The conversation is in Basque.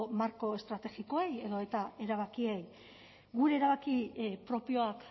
marko estrategikoei edo eta erabakiei gure erabaki propioak